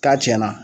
K'a tiɲɛna